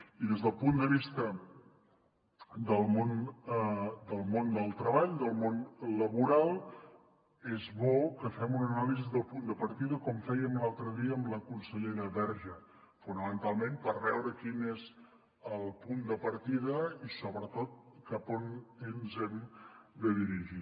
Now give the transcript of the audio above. i des del punt de vista del món del treball del món laboral és bo que fem una anàlisi del punt de partida com fèiem l’altre dia amb la consellera verge fonamentalment per veure quin és el punt de partida i sobretot cap a on ens hem de dirigir